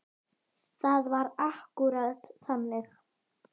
Það var akkúrat þannig.